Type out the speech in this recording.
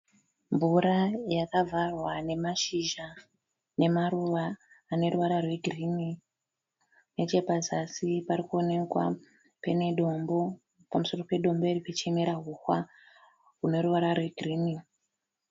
Mvura yakavharwa namashizha nemaruva ane ruvara rwegirini. Nechepazasi pari kuonekwa pane dombo. Pamusoro pedombo iri pachimera uphwa hune ruvara rwegirini.